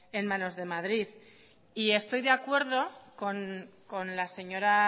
en manos de madrid y estoy de acuerdo con la señora